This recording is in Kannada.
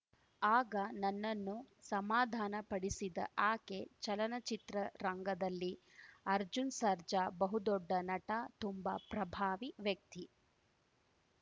ಆಗ ನನ್ನನ್ನು ಸಮಾಧಾನಪಡಿಸಿದ ಆಕೆ ಚಲನಚಿತ್ರ ರಂಗದಲ್ಲಿ ಅರ್ಜುನ್‌ ಸರ್ಜಾ ಬಹುದೊಡ್ಡ ನಟ ತುಂಬಾ ಪ್ರಭಾವಿ ವ್ಯಕ್ತಿ